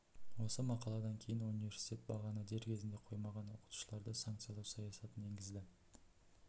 осы мақаладан кейін университет бағаны дер кезінде қоймаған оқытушыларды санкциялау саясатын енгізді